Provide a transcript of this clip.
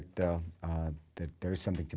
d h d samtökin